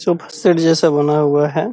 Sofa set जैसा बना हुआ है।